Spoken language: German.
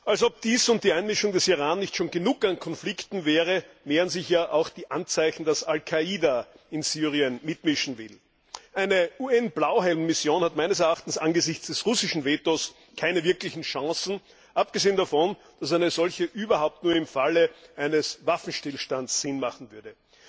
Als ob dies und die Einmischung des Iran nicht schon genug an Konflikten wäre, mehren sich auch die Anzeichen, dass Al Qaida in Syrien mitmischen will. Eine UN Blauhelm Mission hat meines Erachtens angesichts des russischen Vetos keine wirklichen Chancen, abgesehen davon, dass eine solche überhaupt nur im Falle eines Waffenstillstands Sinn haben würde.